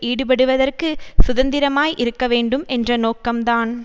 ஈடுபடுவதற்கு சுதந்திரமாய் இருக்க வேண்டும் என்ற நோக்கம்தான்